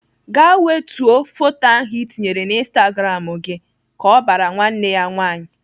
Gaa wetuo photo ahụ Ị tinyere na instagram gị !" Ka ọ bara nwanne ya nwaanyị.